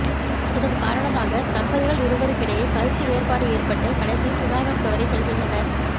இதன் காரணமாக தம்பதிகள் இருவருக்கிடையே கருத்து வேறுபாடு ஏற்பட்டு கடைசியில் விவாகரத்து வரை செல்கின்றனர்